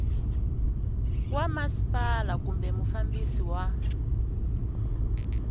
wa masipala kumbe mufambisi wa